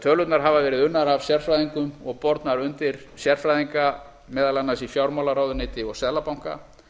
tölurnar hafa verið unnar af sérfræðingum og bornar undir sérfræðinga meðal annars í fjármálaráðuneyti og seðlabanka